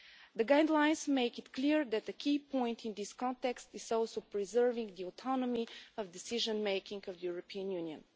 The guidelines make it clear that a key point in this context is also preserving the autonomy of decision making of the European Union.